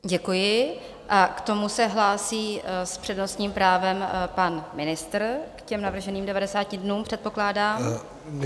Děkuji a k tomu se hlásí s přednostním právem pan ministr, k těm navrženým 90 dnům, předpokládám.